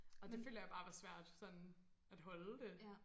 Og det føler jeg bare var svært sådan at holde det